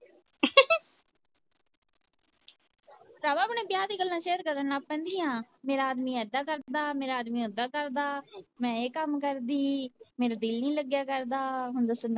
ਭਰਾਵਾਂ ਆਪਣੇ ਵਿਆਹ ਦੀਆ ਗੱਲਾਂ share ਕਰਨ ਲੱਗ ਪੈਂਦੀ ਆ ਮੇਰਾ ਆਦਮੀ ਏਦਾਂ ਕਰਦਾ, ਮੇਰਾ ਆਦਮੀ ਏਦਾਂ ਕਰਦਾ ਮੈ ਏਦਾਂ ਕਰਦਾ ਮੈ ਇਹ ਕੰਮ ਕਰਦੀ ਮੇਰਾ ਜੀਅ ਨਹੀਂ ਲਗਿਆ ਕਰਦਾ